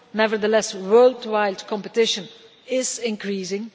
Nevertheless, worldwide competition is increasing.